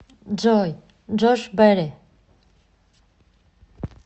джой джош бэрри